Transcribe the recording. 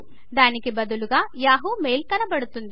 దానికి బదులుగా Yahooయాహూ మెయిల్ కనపడుతుంది